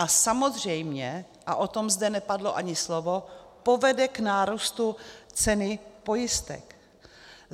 A samozřejmě, a o tom zde nepadlo ani slovo, povede k nárůstu ceny pojistek.